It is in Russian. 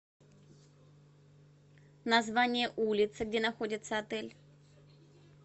название улицы где находится отель